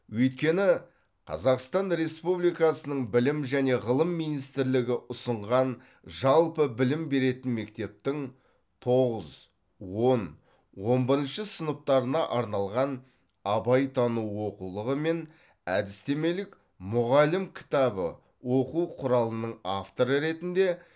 өйткені қазақстан республикасының білім және ғылым министрлігі ұсынған жалпы білім беретін мектептің тоғыз он он бірініші сыныптарына арналған абайтану оқулығы мен әдістемелік мұғалім кітабы оқу құралының авторы ретінде